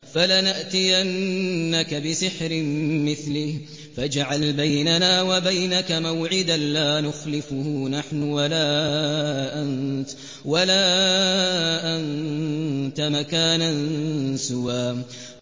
فَلَنَأْتِيَنَّكَ بِسِحْرٍ مِّثْلِهِ فَاجْعَلْ بَيْنَنَا وَبَيْنَكَ مَوْعِدًا لَّا نُخْلِفُهُ نَحْنُ وَلَا أَنتَ مَكَانًا سُوًى